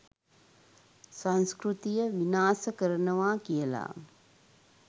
සංස්කෘතිය විනාස කරනවා කියලා